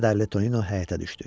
Kədərli Tonino həyətə düşdü.